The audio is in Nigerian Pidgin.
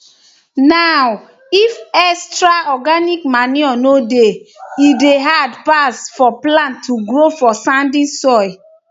now if extra organic manure nor dey e dey hard pass for plants to grow for sandy soil